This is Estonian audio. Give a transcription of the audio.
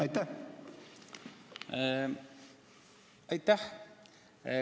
Aitäh!